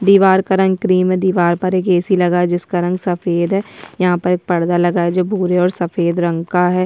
दीवार का रंग क्रीम दीवार पे एक ए.सी. लगा जिसका रंग सफ़ेद है यहाँ पर एक पर्दा लगा है भूरे और सफ़ेद रंग का है।